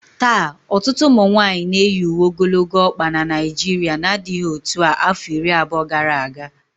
Taa, ọtụtụ ụmụ nwanyị na-eyi uwe ogologo ọkpa na Naijiria n'adịghị otu a afọ iri abụọ gara aga